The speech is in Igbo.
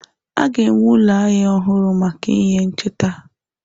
A ga-enwe ụlọ ahịa ọhụrụ maka ihe ncheta.